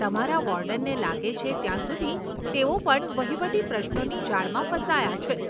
તમારા વોર્ડનને લાગે છે ત્યાં સુધી તેઓ પણ વહીવટી પ્રશ્નોની જાળમાં ફસાયા છે.